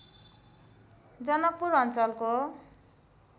जनकपुर अञ्चलको